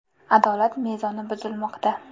Adolat mezoni buzilmoqda.